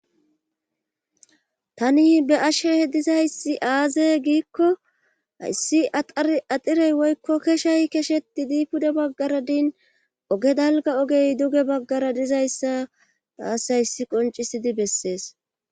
tani be'ashehe dizayssi aaze giikko hayssi axar axirey woykko keshay kesheti dii pude baggara din oge dalga ogey duge baggara dizayssa taas hayssi qoncisidi bessees